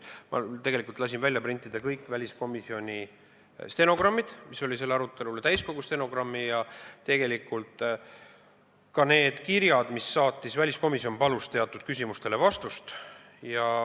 Ma lasin printida kõik väliskomisjoni stenogrammid selle arutelu kohta, täiskogu stenogrammi ja ka need kirjad, mis saadeti, kui väliskomisjon palus teatud küsimustele vastust.